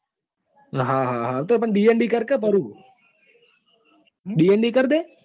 હા હા તો પણ કર કે પરુ દિંડી કર દે.